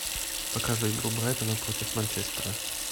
покажи игру брайтона против манчестера